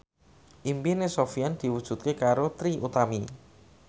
impine Sofyan diwujudke karo Trie Utami